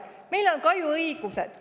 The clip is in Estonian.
Meil on ka ju õigused!